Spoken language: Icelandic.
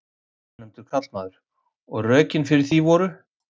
Ónefndur karlmaður: Og rökin fyrir því voru?